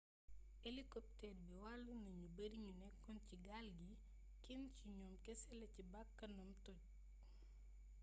elikopteer bi wàllu na ñu bari ñu nekkoon ci gaal gi kenn ci ñoom kese la ci bakkanam toj